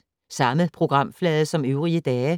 Samme programflade som øvrige dage